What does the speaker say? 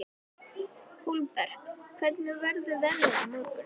Hólmbert, hvernig verður veðrið á morgun?